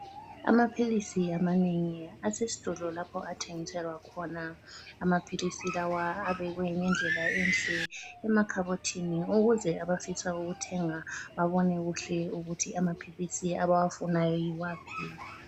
Amaphilisi amanengi asesitolo lapho athengiselwa khona. Amaphilisi lawa abekwe ngendlela enhle emakhabothini ukuze abafisa ukuthenga babone kuhle ukuthi amaphilisi abawafunayo yiwaphi.